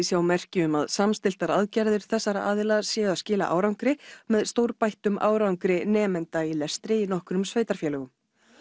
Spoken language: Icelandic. sjá merki um að samstilltar aðgerðir þessara aðila séu að skila árangri með stórbættum árangri nemenda í lestri í nokkrum sveitarfélögum